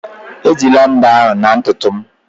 Ejila mbo ahụ na ntutu m